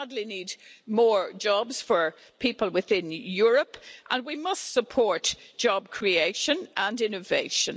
We badly need more jobs for people within Europe and we must support job creation and innovation.